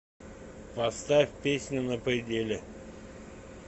поставь песню на пределе